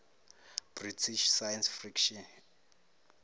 british science fiction